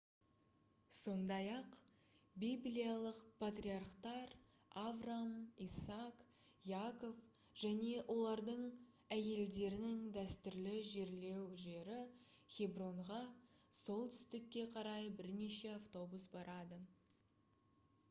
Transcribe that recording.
сондай-ақ библиялық патриархтар авраам исаак яков және олардың әйелдерінің дәстүрлі жерлеу жері хебронға солтүстікке қарай бірнеше автобус барады